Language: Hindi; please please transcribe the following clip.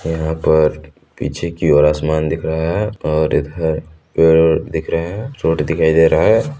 यहाँ पर पीछे की ओर आसमान दिख रहा हैं और इधर पेड़ दिख रहे हैं छोटी दिखाई दे रहा हैं।